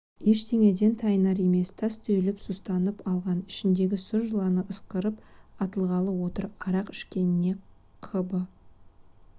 ештеңеден тайынар емес тас түйіліп сұстанып алған ішіндегі сұр жыланы ысқырып атылғалы отыр арақ ішкеніне қыбы